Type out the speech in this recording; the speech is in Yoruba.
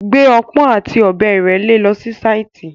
Gbé ọpọ́n àti ọ̀bẹ ìrẹ́le lọ si sáìtì.